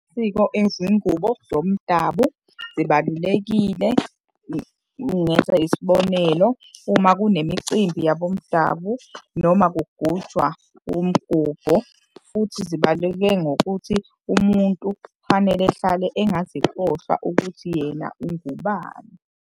izingubo zomdabu zibalulekile ngenza isibonelo, uma kunemicimbi yabomdabu noma kugujwa umgubho. Futhi zibaluleke ngokuthi umuntu kufanele ehlale engazikhohlwa ukuthi yena ungubani.